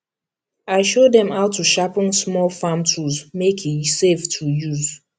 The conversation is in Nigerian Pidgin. i show dem how to sharpen small farm tools make e safe to use